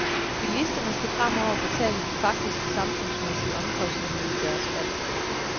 Bilisterne skal fremover betale de faktiske samfundsmæssige omkostninger ved deres valg.